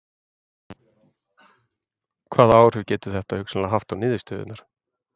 Hvaða áhrif getur þetta hugsanlega haft á niðurstöðurnar?